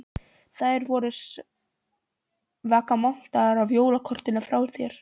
Þær voru svaka montnar af jólakortinu frá þér.